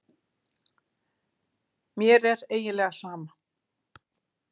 Mér er eiginlega sama.